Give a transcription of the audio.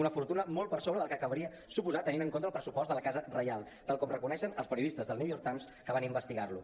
una fortuna molt per sobre del que caldria suposar tenint en compte el pressupost de la casa reial tal com reconeixen els periodistes del new york times que van investigar lo